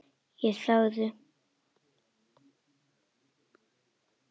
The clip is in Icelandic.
Ég þagði.